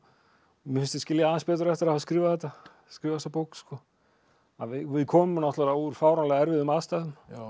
mér finnst ég skilja það aðeins betur eftir að hafa skrifað þetta skrifað þessa bók við komum náttúrulega úr fáránlega erfiðum aðstæðum